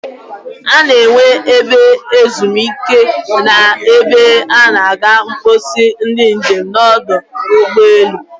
A na-enwe ebe ezum ike na ebe a na-aga mposi ndị njem n'ọdọ ụgbọelu.